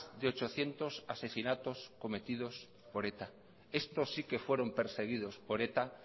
de ochocientos asesinatos cometidos por eta estos sí que fueron perseguidos por eta